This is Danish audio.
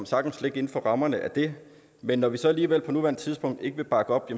sagtens ligge inden for rammerne af det men når vi så alligevel på nuværende tidspunkt ikke vil bakke op